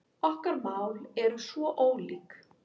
Okkar mál eru svo ólík